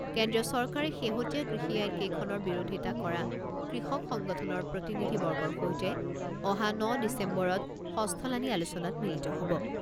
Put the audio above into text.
কেন্দ্ৰীয় চৰকাৰে শেহতীয়া কৃষি আইন কেইখনৰ বিৰোধিতা কৰা কৃষক সংগঠনৰ প্ৰতিনিধি বৰ্গৰ সৈতে অহা ন ডিচেম্বৰত ষষ্ঠলানি আলোচনাত মিলিত হ'ব।